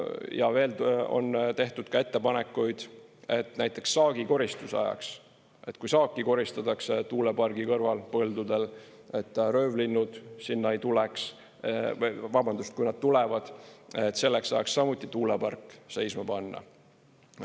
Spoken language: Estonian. Ja veel on tehtud ettepanekuid, et näiteks saagikoristuse ajaks, kui saaki koristatakse tuulepargi kõrval põldudel, et röövlinnud sinna ei tuleks, vabandust, kui nad tulevad, siis selleks ajaks samuti tuulepark seisma panna.